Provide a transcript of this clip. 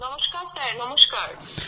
নমস্কার স্যার নমস্কার